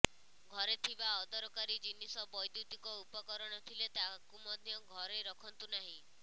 ଘରେ ଥିବା ଅଦରକାରୀ ଜିନିଷ ବୈଦୁତିକ ଉପକରଣ ଥିଲେ ତାହାକୁ ମଧ୍ୟ ଘରେ ରଖନ୍ତୁ ନାହିଁ